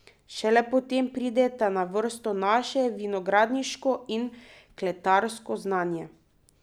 Šele potem prideta na vrsto naše vinogradniško in kletarsko znanje.